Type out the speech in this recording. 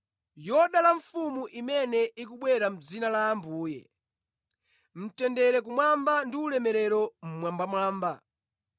“Yodala mfumu imene ikubwera mʼdzina la Ambuye!” “Mtendere kumwamba ndi ulemerero mmwambamwamba!”